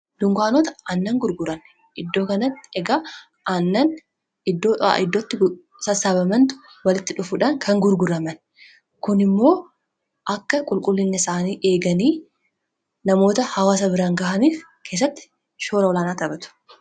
dunganota aannan gurguranne iddoo kanatti egaa annan iddoo a iddootti sassabamantu walitti dhufuudhaan kan gurguraman kun immoo akka qulqullinne isaanii eeganii namoota hawasa biran ga'aniif keessatti shooraulaanaa taphatu